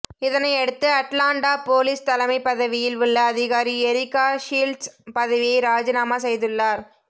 இதனையடுத்து Atlanta police தலைமைப் பதவியில் உள்ள அதிகாரி எரிகா ஷீல்ட்ஸ் பதவியை ராஜினாமா செய்துள்ளார்